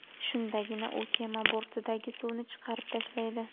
Shundagina u kema bortidagi suvni chiqarib tashlaydi.